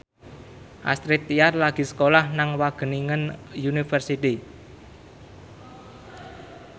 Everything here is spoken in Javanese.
Astrid Tiar lagi sekolah nang Wageningen University